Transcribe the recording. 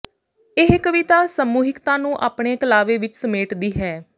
ਇਹ ਕਵਿਤਾ ਸਮੂਹਿਕਤਾ ਨੂੰ ਆਪਣੇ ਕਲਾਵੇ ਵਿੱਚ ਸਮੇਟਦੀ ਹੈ